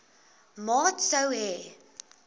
maat sou hê